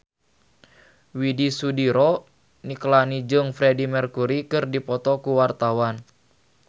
Widy Soediro Nichlany jeung Freedie Mercury keur dipoto ku wartawan